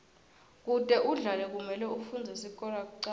kute udlale kumele ufundze sikolo kucala